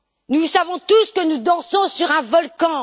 Nous savons tous que nous dansons sur un volcan.